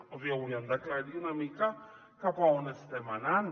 o sigui haurien d’aclarir una mica cap a on estem anant